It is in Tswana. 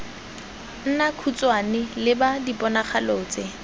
nna khutshwane leba diponagalo tse